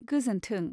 गोजोन्थों।